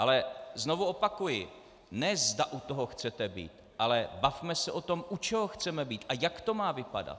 Ale znovu opakuji, ne zda u toho chcete být, ale bavme se o tom, u čeho chceme být a jak to má vypadat.